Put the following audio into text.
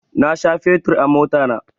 Na sha fetur a motana